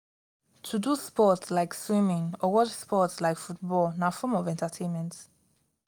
to do sports like swimming or watch sports like football na form of entertainment